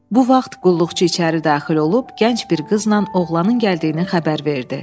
Bu vaxt qulluqçu içəri daxil olub, gənc bir qızla oğlanın gəldiyini xəbər verdi.